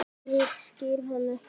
En ég skil hann ekki.